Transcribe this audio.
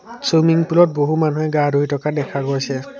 Swimming pool ত বহু মানুহে গা ধুই থকা দেখা গৈছে।